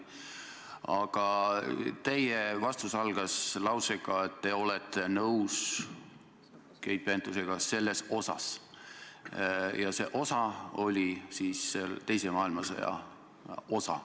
Aga teie vastus algas lausega, et te olete nõus Keit Pentusega selles osas, mis puudutab teist maailmasõda.